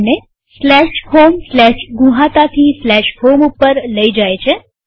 આપણને homegnuhata થી home ઉપર લઇ જાય છે